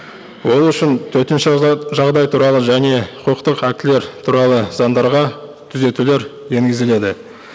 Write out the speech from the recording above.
ол үшін төтенше жағдай туралы және құқықтық актілер туралы заңдарға түзетулер енгізіледі